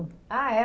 Ah, é?